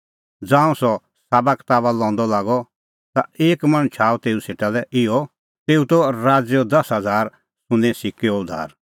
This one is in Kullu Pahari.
ज़ांऊं सह साबाकताबा लंदअ लागअ ता एक मणछ आअ तेऊ सेटा लै इहअ तेऊ त राज़ैओ दसा हज़ारा सुन्नें सिक्कैओ धुआर